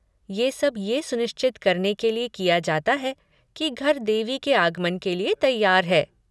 ये सब ये सुनिश्चित करने के लिए किया जाता है कि घर देवी के आगमन के लिये तैयार है।